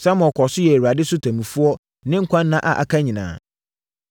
Samuel kɔɔ so yɛɛ Israel so ɔtemmufoɔ ne nkwa nna a aka nyinaa.